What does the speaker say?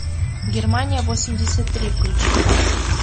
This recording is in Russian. германия восемьдесят три включи ка